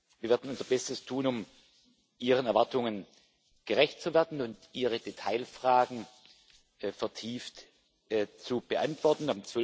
Wir werden unser Bestes tun, um Ihren Erwartungen gerecht zu werden und Ihre Detailfragen vertieft zu beantworten.